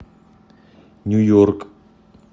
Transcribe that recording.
нью йорк